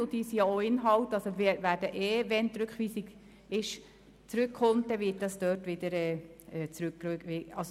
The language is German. Wenn die Rückweisung angenommen wird, dann wird das ohnehin in die Kommission zurückgewiesen.